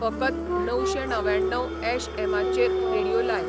फकत णवशें णव्याण्णव ऍश ऍमाचेर रेडीयो लाय